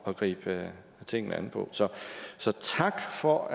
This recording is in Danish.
at gribe tingene an på så så tak for